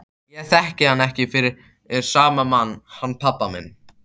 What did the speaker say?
Ég þekki hann ekki fyrir sama mann hann pabba þinn.